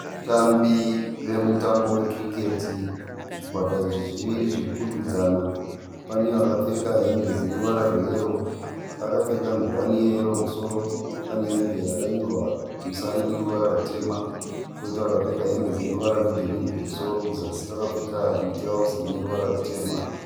Vatambi vemutambo we cricket , zvikwata izvi zviviri zvirikukwikwidzana. Pane vakapfeka hembe dzine ruwara rwe yero akapfeka nguwani ye yero kumusoro. Pane hembe yakanyorwa kumusana neruvara rutema koita vakapfeka hembe dzine ruvara rwe girinhi kumusoro kuzasi vakapfeka mitirauzi ine ruvara rutema.